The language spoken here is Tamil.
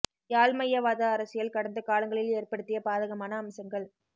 யாழ்மையவாத அரசியல் கடந்த காலங்களில் ஏற்படுத்திய பாதகமான அம்சங்கள்